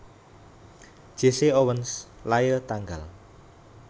Jesse Owens lair tanggal